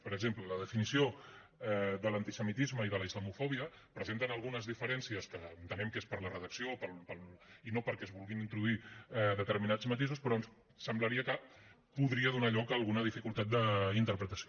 per exemple la definició de l’antisemitisme i de la islamofòbia presenten algunes diferències que entenem que és per la redacció i no perquè es vulguin introduir determinats matisos però semblaria que podria donar lloc a alguna dificultat d’interpretació